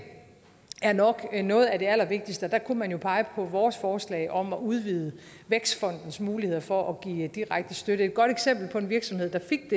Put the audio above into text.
nok er noget af det allervigtigste og der kunne man jo pege på vores forslag om at udvide vækstfondens muligheder for at give direkte støtte et godt eksempel på en virksomhed der fik